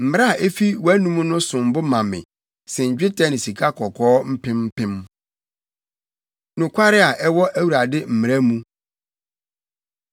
Mmara a efi wʼanom no som bo ma me sen dwetɛ ne sikakɔkɔɔ mpem mpem. Nokware A Ɛwɔ Awurade Mmara Mu